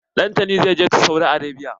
Dantani zai je Saudi Arabia.